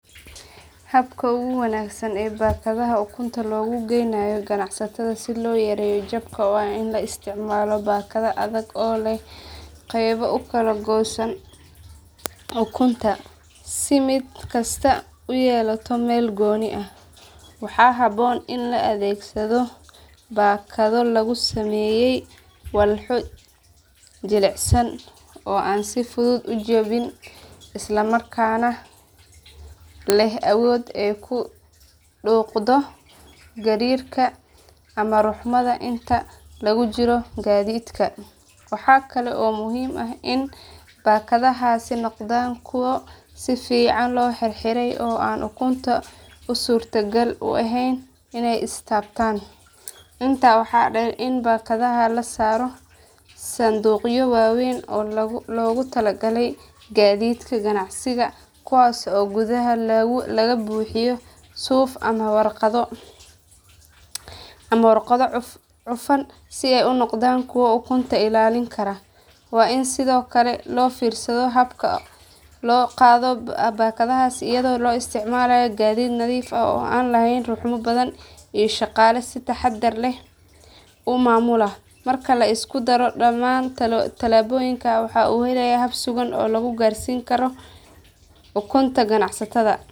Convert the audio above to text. Habka ugu wanaagsan ee baakadaha ukunta loogu geynayo ganacsatada si loo yareeyo jabka waa in la isticmaalo baakado adag oo leh qaybo u kala goosan ukunta si mid kastaa u yeelato meel gooni ah. Waxaa habboon in la adeegsado baakado laga sameeyey walxo jilicsan oo aan si fudud u jabin isla markaana leh awood ay ku dhuuqdo gariirka ama ruxmada inta lagu jiro gaadiidka. Waxaa kale oo muhiim ah in baakadahaasi noqdaan kuwo si fiican loo xirxiray oo aan ukuntu u suurtagal u ahayn inay is taabtaan. Intaa waxaa dheer in baakadaha la saaro sanduuqyo waaweyn oo loogu talagalay gaadiidka ganacsiga kuwaas oo gudaha laga buuxiyo suuf ama warqado cufan si ay u noqdaan kuwo ukunta ilaalin kara. Waa in sidoo kale loo fiirsado habka loo qaado baakadahaas iyadoo la isticmaalayo gaadiid nadiif ah oo aan lahayn ruxmo badan iyo shaqaale si taxadar leh u maamula. Marka la isku daro dhamaan tallaabooyinkan waxaa la helayaa hab sugan oo lagu gaarsiin karo ukunta ganacsatada.